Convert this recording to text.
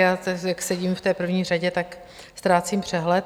Já jak sedím v té první řadě, tak ztrácím přehled.